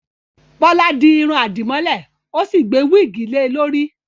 Bọ́lá di irun àdìmọ́lẹ̀, ó sì gbé wíìgì lè e lórí